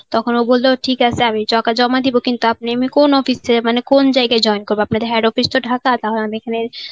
ও বললো ঠিক আছে আমি টাকা জমা দিবো কিন্তু আপনি আমি কোন office থেকে মানে কোন জায়গায় join করব আপনাদের head office টা ঢাকা তাহলে আমি এখানে